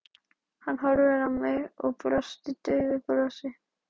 Hann horfði á mig og brosti daufu brosi.